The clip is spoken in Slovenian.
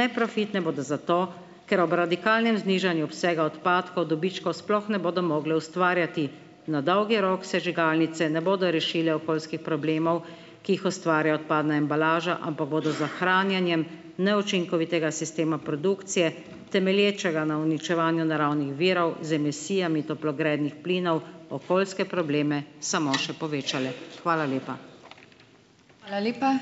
Neprofitne bodo zato, ker ob radikalnem znižanju obsega odpadkov dobičkov sploh ne bodo mogli ustvarjati. Na dolgi rok sežigalnice ne bodo rešile okoljskih problemov, ki jih ustvari odpadna embalaža, ampak bodo za hranjenjem neučinkovitega sistema produkcije, temelječega na uničevanju naravnih virov z emisijami toplogrednih plinov, okoljske probleme samo še povečale. Hvala lepa.